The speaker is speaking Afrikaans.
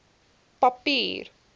papier